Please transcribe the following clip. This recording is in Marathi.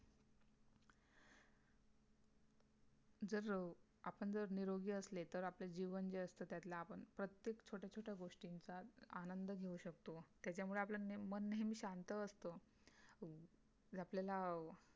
जर आपण जर निरोगी असले तर आपले जीवन जे असत त्यातला आपण प्रत्येक छोट्या छोट्या गोष्टींचा आनंद घेऊ शकतो त्याच्यामुळे आपलं मन नेहमी शांत असत आपल्याला